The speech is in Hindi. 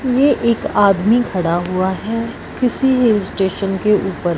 ये एक आदमी खड़ा हुआ है किसी स्टेशन के ऊपर --